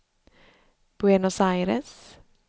Buenos Aires